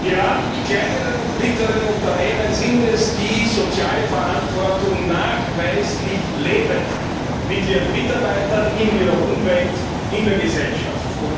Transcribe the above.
Gerade die kleinen und mittleren Unternehmen sind es, die soziale Verantwortung nachweislich leben mit ihren Mitarbeitern, in ihrer Umwelt, in der Gesellschaft.